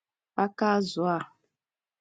aka azụ̀ a?